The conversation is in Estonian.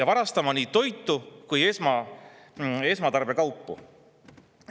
–, varastama nii toitu kui ka esmatarbekaupu.